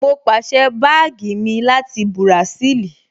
Mo pàsẹ́ báàgì mi láti Bùràṣíìlì